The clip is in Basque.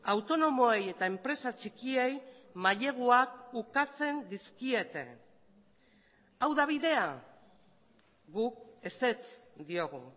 autonomoei eta enpresa txikiei maileguak ukatzen dizkiete hau da bidea guk ezetz diogu